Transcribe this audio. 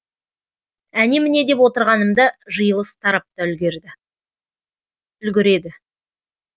әне міне деп отырғанымда жиылыс тарап та үлгіреді